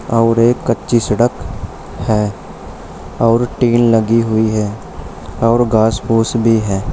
और एक कच्ची सड़क है और टीन लगी हुई है और घास फूस भी है।